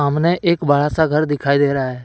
सामने एक बड़ा सा घर दिखाई दे रहा है।